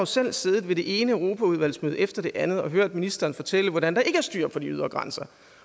selv har siddet i det ene europaudvalgsmøde efter det andet og hørt ministeren fortælle hvordan der ikke er styr på de ydre grænser